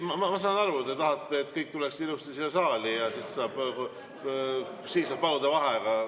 Ma saan aru, et te tahate, et kõik tuleksid ilusti siia saali, ja siis saab paluda vaheaega.